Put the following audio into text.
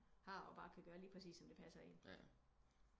Har og bare kan gøre lige præcis som det passer en